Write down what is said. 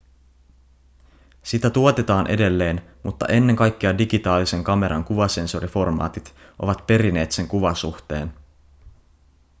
sitä tuotetaan edelleen mutta ennen kaikkea digitaalisen kameran kuvasensoriformaatit ovat perineet sen kuvasuhteen